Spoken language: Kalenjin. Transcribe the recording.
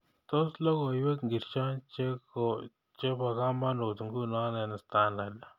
Tos logoywek ngircho chebokamanut nguno eng standat